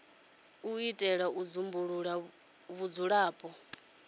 u itela u dzumbulula vhudzulapo